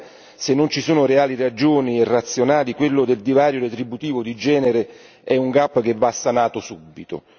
Allora, se non ci sono reali ragioni irrazionali, quello del divario retributivo di genere è un gap che va sanato subito.